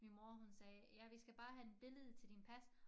Min mor hun sagde ja vi skal bare have en billede til din pas